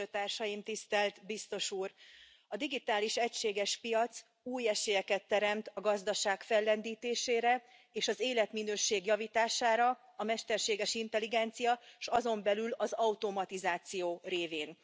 A digitális egységes piac új esélyeket teremt a gazdaság fellendítésére és az életminőség javítására, a mesterséges intelligencia, és azon belül az automatizáció révén.